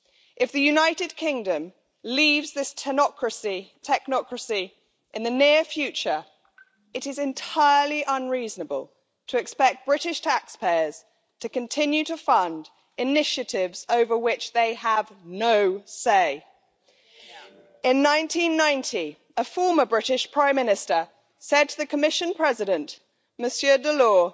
If the United Kingdom leaves this technocracy in the near future, it is entirely unreasonable to expect British taxpayers to continue to fund initiatives over which they have no say. In 1990, a former British Prime Minister said to the Commission President, Monsieur Delors,